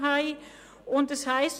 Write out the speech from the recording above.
Es steht geschrieben: